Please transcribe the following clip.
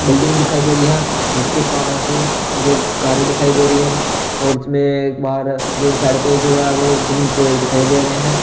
Building दिखाई दे रही है जिसके पास जो कार्य दिखाई दे रही है और इसमें एक बार जो साइड पे जो है वो ग्रीन पेड़ दिखाई दे रहे हैं।